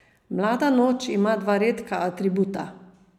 Mlada noč ima dva redka atributa.